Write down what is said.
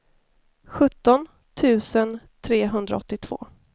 sjutton tusen trehundraåttiotvå